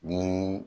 Ni